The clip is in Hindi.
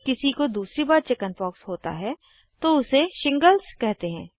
अगर किसी को दूसरी बार चिकिन्पॉक्स होता है तो उसे शिंगगल्ज़ कहते हैं